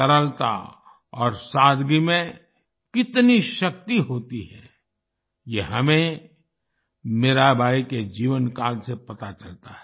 सरलता और सादगी में कितनी शक्ति होती है ये हमें मीराबाई के जीवनकाल से पता चलता है